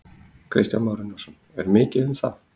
Kristján Már Unnarsson: Er mikið um það?